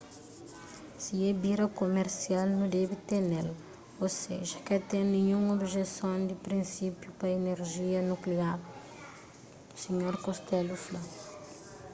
si é bira kumersial nu debe tene-l ô seja ka ten ninhun objeson di prinsipiu pa inerjia nukliar sinhor costello fla